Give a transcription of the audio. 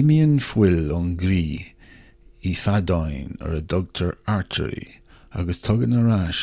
imíonn fuil ón gcroí i bhfeadáin ar a dtugtar artairí agus tagann ar ais